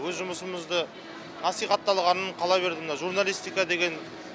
өз жұмысымызды насихатталғанын қала берді мына журналистика деген